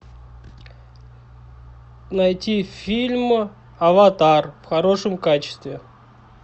найти фильм аватар в хорошем качестве